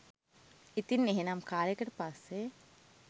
ඉතින් එහෙනම් කාලෙකට පස්සේ